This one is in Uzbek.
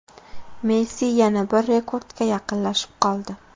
Messi yana bir rekordga yaqinlashib qoldi.